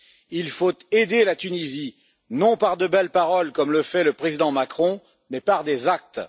Il faut aider la Tunisie, non par de belles paroles comme le fait le président Macron, mais par des actes.